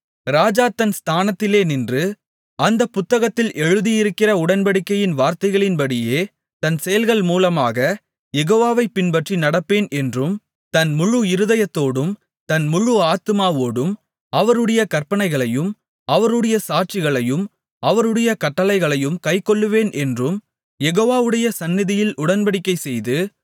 ராஜா தன் ஸ்தானத்திலே நின்று அந்தப் புத்தகத்தில் எழுதியிருக்கிற உடன்படிக்கையின் வார்த்தைகளின்படியே தன் செயல்கள் மூலமாகக் யெகோவாவைப் பின்பற்றி நடப்பேன் என்றும் தன் முழு இருதயத்தோடும் தன் முழு ஆத்துமாவோடும் அவருடைய கற்பனைகளையும் அவருடைய சாட்சிகளையும் அவருடைய கட்டளைகளையும் கைக்கொள்ளுவேன் என்றும் யெகோவாவுடைய சந்நிதியில் உடன்படிக்கைசெய்து